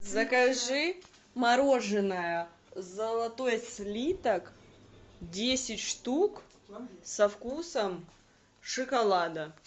закажи мороженое золотой слиток десять штук со вкусом шоколада